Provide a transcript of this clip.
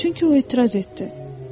Çünki o etiraz etdi.